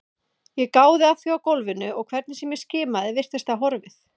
Ég gáði að því á gólfinu og hvernig sem ég skimaði virtist það horfið.